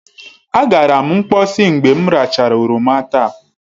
Agara m mkposi mgbe m rachara oroma taa.